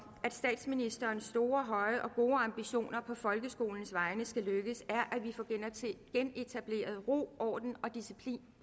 at statsministerens store høje og gode ambitioner på folkeskolens egne vegne skal lykkes er at vi får genetableret ro orden og disciplin